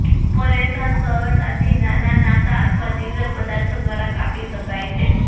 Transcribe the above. નેપોરેન સરળતાથી નાનાં નાકા અથવા તીવ્ર પદાર્થો દ્વારા કાપી શકાય છે